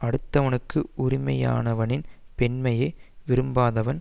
அடுத்தவனுக்கு உரிமையானவனின் பெண்மையை விரும்பாதவன்